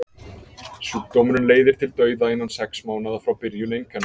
sjúkdómurinn leiðir til dauða innan sex mánaða frá byrjun einkenna